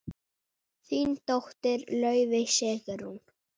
Þín dóttir, Laufey Sigrún.